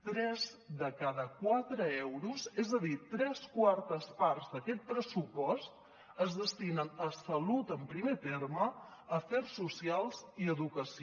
tres de cada quatre euros és a dir tres quartes parts d’aquest pressupost es destinen a salut en primer terme a afers socials i a educació